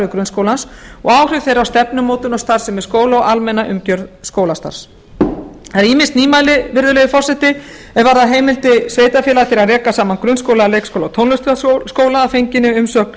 grunnskólans og áhrif þeirra á stefnumótun og starfsemi skóla og almenna umgjörð skólastarfs það eru ýmis nýmæli virðulegi forseti er varða heimild sveitarfélaga til að reka saman grunnskóla leikskóla og tónlistarskóla að fenginni umsögn